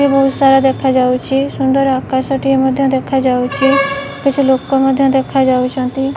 ଏ ବହୁତ ସାରା ଦେଖାଯାଉଚି ସୁନ୍ଦର ଆକାଶଟିଏ ମଧ୍ଯ ଦେଖାଯାଉଛି କିଛି ଲୋକ ମଧ୍ଯ ଦେଖାଯାଉଚନ୍ତିବ --